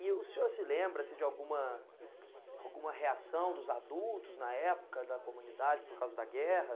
E o senhor se lembra assim de alguma alguma reação dos adultos na época da comunidade por causa da guerra?